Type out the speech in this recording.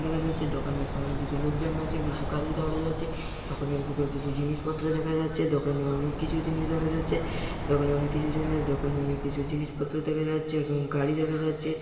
দেখা যাচ্ছে দোকানের সামনে কিছু লোকজন আছে। কিছু গাড়ি দাড়িয়ে আছে দোকানের ভিতর কিছু জিনিসপত্র দেখা যাচ্ছে। দোকানে অনেক কিছু জিনিস দেখা যাচ্ছে । দোকানে অনেক কিছু জিনিস দোকানে অনেক কিছু জিনিসপত্র দেখা যাচ্ছে এবং গাড়ি দেখা যাচ্ছে।